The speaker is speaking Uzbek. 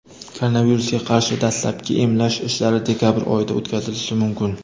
Koronavirusga qarshi dastlabki emlash ishlari dekabr oyida o‘tkazilishi mumkin.